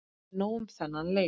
En nóg um þennan leik.